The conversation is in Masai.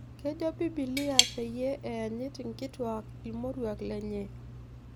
Kejo Biblia peeyie eenyit inkituak irmoruak lenye